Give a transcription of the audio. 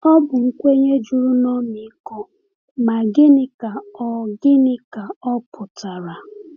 Ọ bụ nkwenye juru n’ọmịiko, ma gịnị ka ọ gịnị ka ọ pụtara?